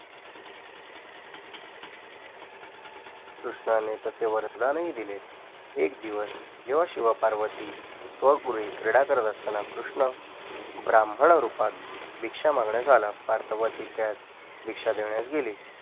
कृष्णाने तसे वरदान ही दिले एक दिवस जेव्हा शिव पार्वती स्वगृही क्रीडा करत असताना कृष्ण ब्राह्मण रूपात भिक्षा मागण्यास आला पार्वती त्यास भीकशा देण्यास गेली